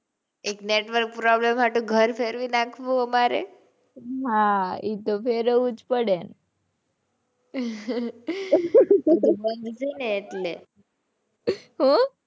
એક network problem સાટું ઘર ફેરવી નાખવું અમારે. હાં એ તો ફેરવવું જ પડે.